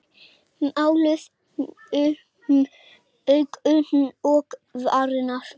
Máluð um augun og varirnar.